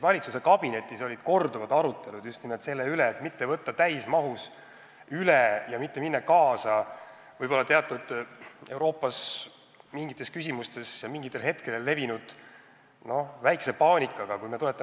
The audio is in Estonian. Valitsuskabinetis olid korduvad arutelud just nimelt ettepaneku üle mitte võtta direktiivi täismahus üle ja mitte minna Euroopa Liiduga kaasa mingites küsimustes, mis mingitel hetkedel väikse paanikaga üles kerkisid.